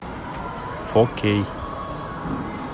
фо кей